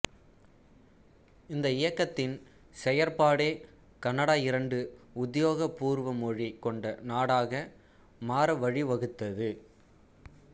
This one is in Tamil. இந்த இயக்கத்தின் செயற்பாடே கனடா இரண்டு உத்யோக பூர்வ மொழி கொண்ட நாடாக மாற வழிவகுத்தது